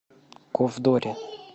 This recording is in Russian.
ковдоре